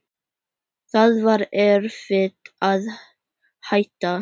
Það var erfitt að hætta.